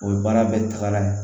O ye baara bɛɛ taga ye